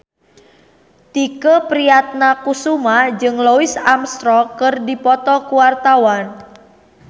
Tike Priatnakusuma jeung Louis Armstrong keur dipoto ku wartawan